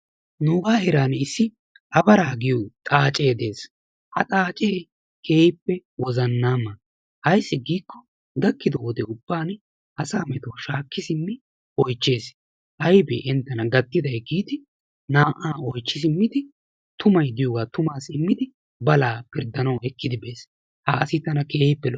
Nugaa heeraani issi abaraa giyo xaacee des. Ha xaacee keehippe wozzannaama. Ayissi giiko gakkido wode ubbaani asaa metuwa shaakki simmi oyichcheesi. Ayibee entena gattiday giidi naa"aa oyichchi simmidi tumay diyoogaa tumaassi immidi balaa pirddanawu ekkidi bes. Ha asi tana keehippe lo'es.